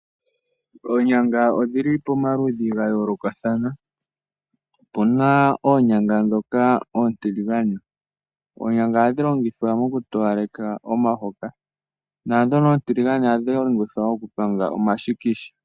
Oonyanga odhili pomaludhi ga yolokathana. Opuna oonyanga dhoka oontiligane ohadhi longithwa oku towaleka momahoka nadhono ontiligane ohadhi longithwa okupanga omashikisha.